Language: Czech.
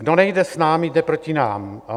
Kdo nejde s námi, jde proti nám.